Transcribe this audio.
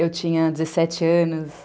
Eu tinha dezessete anos.